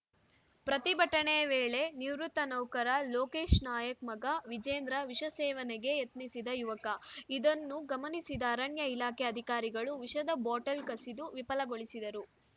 ಪ್ರತಿಭಟನೆ ವೇಳೆ ನಿವೃತ್ತ ನೌಕರ ಲೋಕೇಶ್‌ ನಾಯ್ಕ್ ಮಗ ವಿಜೇಂದ್ರ ವಿಷ ಸೇವನೆಗೆ ಯತ್ನಿಸಿದ ಯುವಕ ಇದನ್ನು ಗಮನಿಸಿದ ಅರಣ್ಯಇಲಾಖೆ ಅಧಿಕಾರಿಗಳು ವಿಷದ ಬಾಟಲ್‌ ಕಸಿದು ವಿಫಲಗೊಳಿಸಿದರು